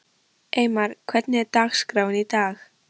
Eymar, hvernig er dagskráin í dag?